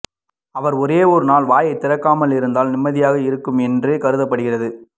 அவர் ஒரே ஒரு நாள் வாயை திறக்காமல் இருந்தால் நிம்மதியாக இருக்கும் என்றே கருதப்படுகிறது